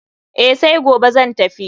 Eh, sai gobe zan tafi.